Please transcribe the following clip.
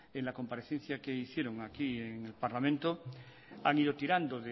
en la comparecencia que hicieron aquí en el parlamento han ido tirando